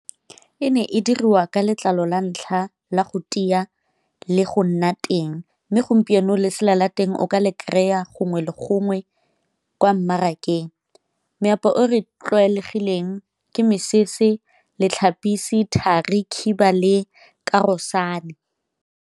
E ne e dirwa ka letlalo la ntlha la go tia le go nna teng, mme gompieno lesela la teng o ka le kry-a gongwe le gongwe kwa mmarakeng. Meaparo e tlwaelegileng ke mesese, , thari, khiba le .